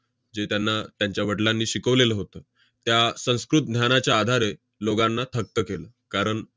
जे त्यांना त्यांच्या वडलांनी शिकवलेलं होतं, त्या संस्कृत ज्ञानाच्या आधारे लोकांना थक्क केलं. कारण